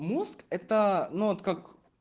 мозг это но от как